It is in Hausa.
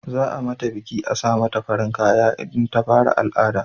Za a mata biki a sa mata farin kaya in ta fara al'ada